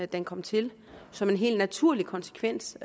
den kom til som en helt naturlig konsekvens